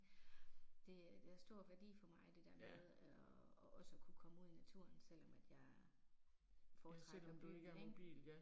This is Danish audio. Det øh det har stor værdi for mig det der med og og også at kunne komme ud i naturen selvom at jeg foretrækker byen ik